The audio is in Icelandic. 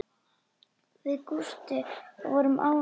Við Gústi vorum ágætir vinir.